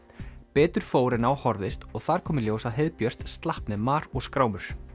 betur fór en á horfðist og þar kom í ljós að heiðbjört slapp með mar og skrámur